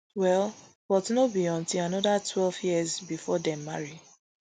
well but no be until anoda twelve years bifor dem marry